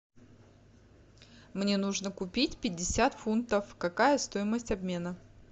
мне нужно купить пятьдесят фунтов какая стоимость обмена